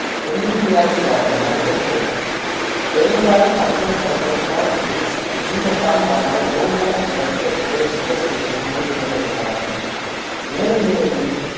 தென்னிந்தியாவில் வாழ்ந்த மனிதர்கள் பெரும்பாலும் பண்டைய பழங்கற்காலத்தில் நீண்ட காலம் வாழ்ந்த ஓமோ ரெக்ட~ ரெக்டசு இனத்தை சேர்ந்தவர்களாவர் மேலும் இவர்களின்